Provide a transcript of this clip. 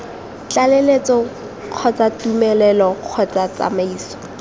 tlaleletso kgotsa tumelelo kgotsa ditsamaiso